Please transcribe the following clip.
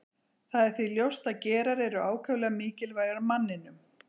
það er því ljóst að gerar eru ákaflega mikilvægir manninum